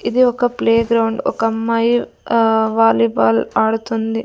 ఇది ఒక ప్లేగ్రౌండ్ ఒక అమ్మాయి ఆ వాలీబాల్ ఆడుతుంది.